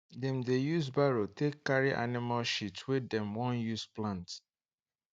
dem dey use barrow take carry animal shit wey dem wan use plant